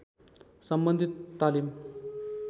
सम्बन्धित तालीम